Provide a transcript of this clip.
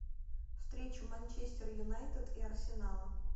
встречу манчестер юнайтед и арсенала